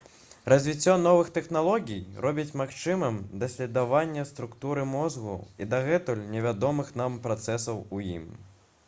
развіццё новых тэхналогій робіць магчымым даследаванне структуры мозгу і дагэтуль невядомых нам працэсаў у ім